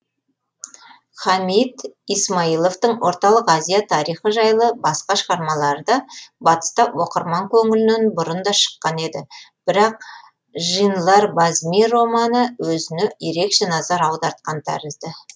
хамид исмаиловтың орталық азия тарихы жайлы басқа шығармалары да батыста оқырман көңілінен бұрын да шыққан еді бірақ жинлар базми романы өзіне ерекше назар аудартқан тәрізді